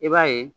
I b'a ye